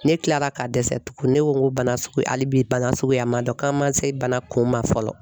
Ne kila la ka dɛsɛ tugun ne ko n ko bana sugu hali bi bana suguya man dɔn, k'a man se bana kun ma fɔlɔ.